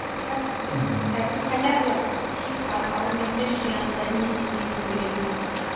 бірақ біз мхм қазір хотя бы бір психикалық аурумен күресіп жүрген адамдардың не сезінетінін білеміз қазір